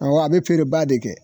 Awɔ a be feereba de kɛ.